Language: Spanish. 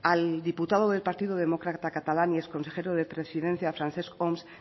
al diputado del partido demócrata catalán y exconsejero de presidencia francesc homs